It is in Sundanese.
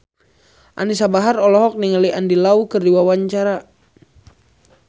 Anisa Bahar olohok ningali Andy Lau keur diwawancara